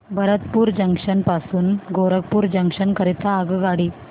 Bharatpur junction पासून Gorakhpur junction करीता आगगाडी